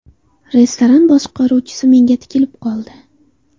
Restoran boshqaruvchisi menga tikilib qoldi.